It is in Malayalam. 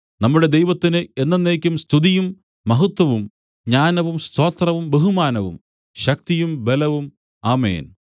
നമ്മുടെ ദൈവത്തിന് എന്നെന്നേക്കും സ്തുതിയും മഹത്വവും ജ്ഞാനവും സ്തോത്രവും ബഹുമാനവും ശക്തിയും ബലവും ആമേൻ